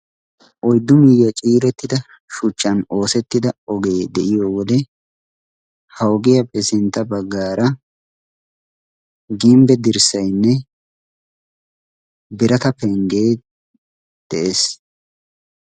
oiddu miigiyaa ciirettida shuchchan oosettida ogee de7iyo wode haugiyaa pesentta baggaara gimbbe dirssainne birata penggee de7ees